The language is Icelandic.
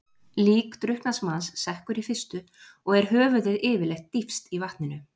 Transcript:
Lík drukknaðs manns sekkur í fyrstu og er höfuðið yfirleitt dýpst í vatninu.